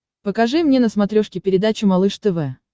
покажи мне на смотрешке передачу малыш тв